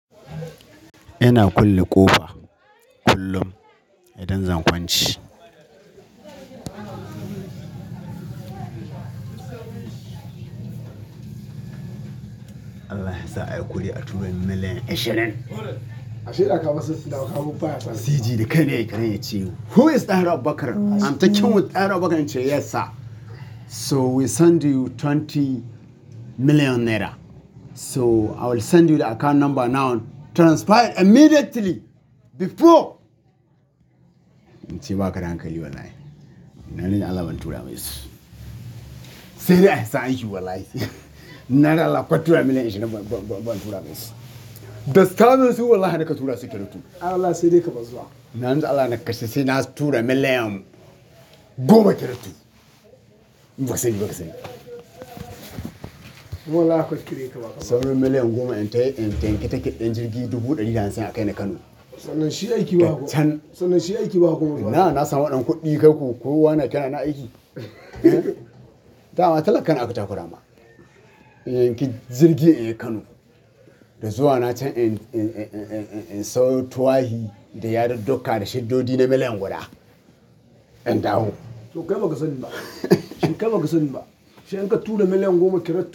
Ina kulle ƙofa kullum idan zan kwance. Allah ya sa a yi kuɗi a turomin million ashirin. Cg dakainai yakiran yace Who is Dan Abubakar? I'm talking with Dan Abubakar? He said, "Yes sir. So we send you twenty million naira. So I will send you the account number now. Transferred immediately before "In ce ba ka dankali wallahi. Na ni Allah ban tura masa. Sai dai an sa aiki wallahi. Na da Allah ko turan million ashirin ba, ba, ba, ba zan tura masa. Dastamin su wallahi da ka tura su kiratu. Allah sai dai ka bazwa. Na ni Allah na kashe, sai na tura million goma kiratu. Ba ka sani, ba ka sani. Wallahi kwatire ka ba. Sauro million goma in taya, in taya ki take ɗin jirgi dubu ɗari da hamsin a kai ni Kano. Toh na shi aiki ba komai. Ina na san waɗannan kuɗi kaku, ko wana ke na aiki? Dama talakan aka takura ma. In yanki jirgi yayi Kano da zuwa na can in, in, in, in, in, in, in sau tuwahi da ya da doka da shiddodi na million guda in dawo. Toh kai ba ka sani ba? Shinka ba ka sani ba? Sai in ka tura million goma kiratu.